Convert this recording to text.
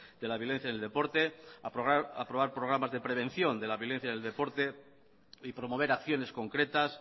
de la violencia en el deporte aprobar programas de prevención de la violencia en el deporte y promover acciones concretas